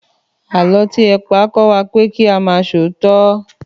Àlọ́ tí ẹ pa kọ́ wa pé kí a máa ṣòótọ́